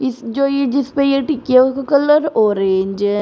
इस जो ये जिसपे ये टिकियों का कलर ऑरेंज --